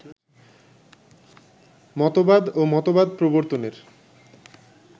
মতবাদ ও মতবাদ প্রবর্তনের